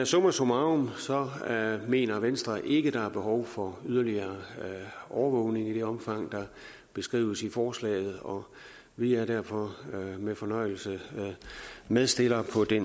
summa summarum mener venstre ikke at der er behov for yderligere overvågning i det omfang der beskrives i forslaget og vi er derfor med fornøjelse medstillere på det